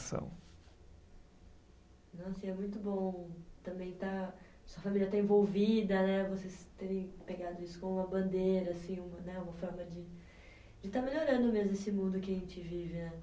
Nossa, e é muito bom também estar. Sua família estar envolvida, né? Vocês terem pegado isso como uma bandeira assim, um, né uma forma de estar melhorando mesmo esse mundo que a gente vive, né?